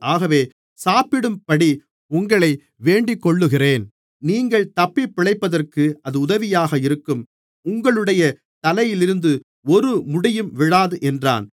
ஆகவே சாப்பிடும்படி உங்களை வேண்டிக்கொள்ளுகிறேன் நீங்கள் தப்பிப் பிழைப்பதற்கு அது உதவியாக இருக்கும் உங்களுடைய தலையிலிருந்து ஒரு முடியும் விழாது என்றான்